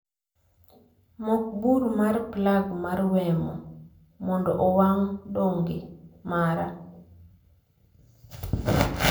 Mok bur mar plag mar wemo mondo owang' dongle mara